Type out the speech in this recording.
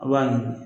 A b'a ɲimi